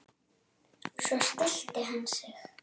Svo stillti hann sig.